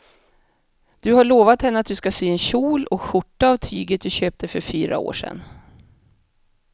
Du har lovat henne att du ska sy en kjol och skjorta av tyget du köpte för fyra år sedan.